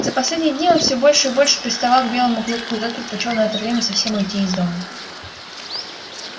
за последние дни он все больше и больше приставал к белому клыку и тот предпочёл на это время совсем уйти из дому